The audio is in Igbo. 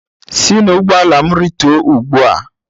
Si n'ụgbọala m rịtuo ugbu a.!